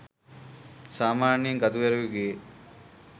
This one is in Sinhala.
සාමාන්‍යයෙන් කතුවරයකුගේ